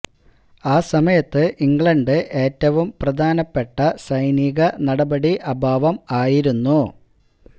ആ സമയത്ത് ഇംഗ്ലണ്ട് ഏറ്റവും പ്രധാനപ്പെട്ട സൈനിക നടപടി അഭാവം ആയിരുന്നു